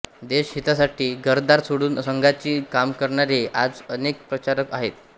देशहितासाठी घरदार सोडून संघाची कामे करणारे आज अनेक प्रचारक आहेत